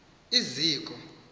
iziko